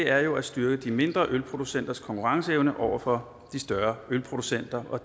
er jo at styrke de mindre ølproducenters konkurrenceevne over for de større ølproducenter